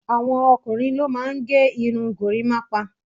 àwọn ọkùnrin ló máà ń gé irun gorimapa